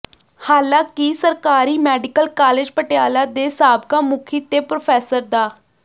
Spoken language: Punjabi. ਹਾਲਾਂਕਿ ਸਰਕਾਰੀ ਮੈਡੀਕਲ ਕਾਲਜ ਪਟਿਆਲਾ ਦੇ ਸਾਬਕਾ ਮੁਖੀ ਤੇ ਪ੍ਰੋਫੈਸਰ ਡਾ